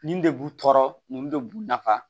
Nin de b'u tɔɔrɔ nin de b'u nafa